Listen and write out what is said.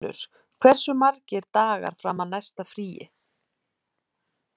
Víggunnur, hversu margir dagar fram að næsta fríi?